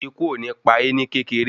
Ikú ò ní pa é ní kékeré